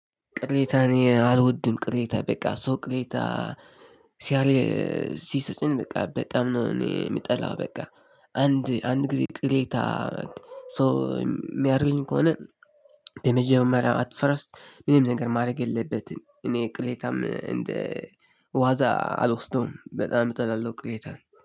ቅሬታን እኔ አልወድም ቅሬታ በቃ ሰው ቅሬታ ሲያል ሲሰጽን በቃ በጣም ነው። እኔ የምጠላው በቃ። አንድ አንድ ጊዜ ቅሌታ። ሶ የሚያደርገኝ ከሆነ። የመጀመሪያ አትፈረስ ምንም ነገር ማድረግ የለበትም እኔ ቅሌታም እንደ ዋዛ አልወስደውም በጣም እጠላለሁ ቅሌታን